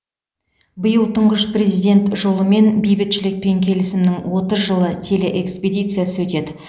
биыл тұңғыш президент жолымен бейбітшілік пен келісімнің отыз жылы телеэкспедициясы өтеді